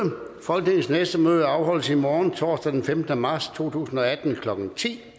folketingets næste møde afholdes i morgen torsdag den femtende marts to tusind og atten klokken ti